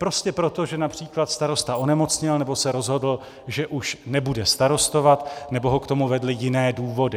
Prostě proto, že například starosta onemocněl, nebo se rozhodl, že už nebude starostovat, nebo ho k tomu vedly jiné důvody.